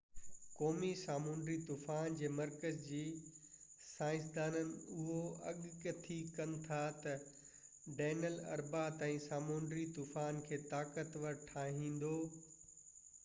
قومي سامونڊي طوفان جي مرڪز جي سائنسدانن اهو اڳ ڪٿي ڪن ٿا تہ ڊينئيل اربع تائين سامونڊي طوفان کي طاقتور ٺاهيندو